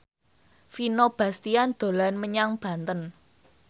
Vino Bastian dolan menyang Banten